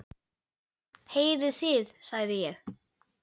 Heyrið þið, sagði ég.